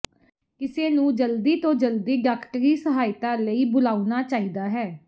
ਕਿਸੇ ਨੂੰ ਜਲਦੀ ਤੋਂ ਜਲਦੀ ਡਾਕਟਰੀ ਸਹਾਇਤਾ ਲਈ ਬੁਲਾਉਣਾ ਚਾਹੀਦਾ ਹੈ